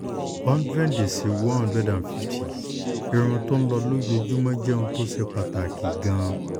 hundred si one hundred and fifty irun tó ń lọ lójoojúmọ́ jẹ́ ohun tó ṣe pàtàkì gan-an